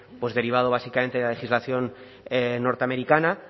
derivado básicamente de la legislación norteamericana